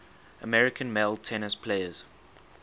american male tennis players